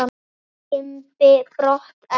Fór Kimbi brott en